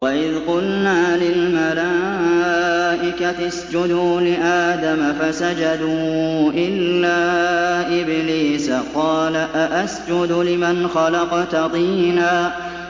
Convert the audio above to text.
وَإِذْ قُلْنَا لِلْمَلَائِكَةِ اسْجُدُوا لِآدَمَ فَسَجَدُوا إِلَّا إِبْلِيسَ قَالَ أَأَسْجُدُ لِمَنْ خَلَقْتَ طِينًا